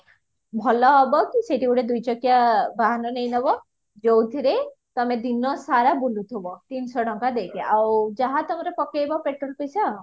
ଭଲ ହବ କି ସେଇଠି ଗୋଟେ ଦୁଇ ଚକିଆ ବାହାନ ନେଇ ନବ ଯୋଉଥିରେ ତମେ ଦିନ ସାରା ବୁଲୁଥିବା ତିନିଶହ ଟଙ୍କା ଦେଇକି ଆଉ ଯାହା ତମର ପକେଇବା petrol ପଇସା